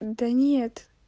да нет